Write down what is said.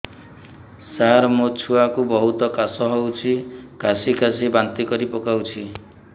ସାର ମୋ ଛୁଆ କୁ ବହୁତ କାଶ ହଉଛି କାସି କାସି ବାନ୍ତି କରି ପକାଉଛି